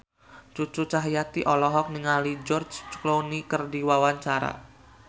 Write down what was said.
Cucu Cahyati olohok ningali George Clooney keur diwawancara